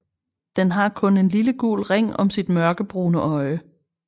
Den har kun en lille gul ring om sit mørkebrune øje